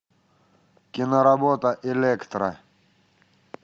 киноработа электра